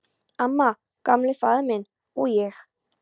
Amma, Gamli faðir minn, og ég.